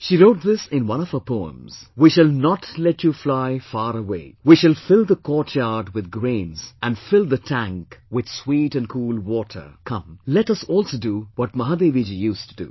She wrote this in one of her poems, "We shall not let you fly far way, we shall fill the courtyard with grains and fill the tank with sweet and cool water..." Come, let us also do what Mahadevi Ji used to do